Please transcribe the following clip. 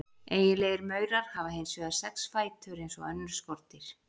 Eiginlegir maurar hafa hins vegar sex fætur eins og önnur skordýr.